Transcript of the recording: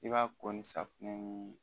I b'a ko ni safunɛ ni